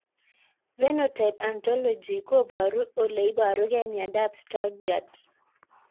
Phenotype ontology koparu ole iparukei miondop Stargardt